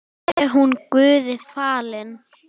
Sé hún Guði falin.